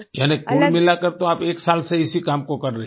यानी कुल मिला कर तो आप एक साल से इसी काम को कर रही हैं